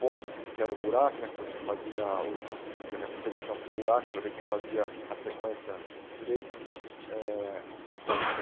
Box, que era o buraco né, que você fazia o a aquela competição com buracos para ver quem fazia a sequência direito. Eh